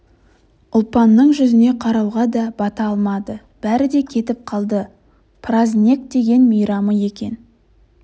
ұлпанның жүзіне қарауға да бата алмады бәрі де кетіп қалды празнек деген мейрамы екен